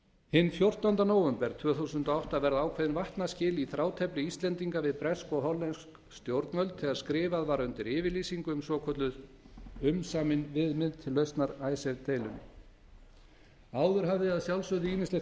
hinn fjórtánda nóvember tvö þúsund og átta verða ákveðin vatnaskil í þrátefli íslendinga við bresk og hollensk stjórnvöld þegar skrifað var undir yfirlýsingu um svokölluð umsamin viðmið til lausnar icesave deilunni áður hafði að sjálfsögðu ýmislegt